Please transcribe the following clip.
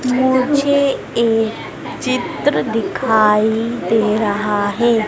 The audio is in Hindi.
मुझे एक चित्र दिखाई दे रहा है।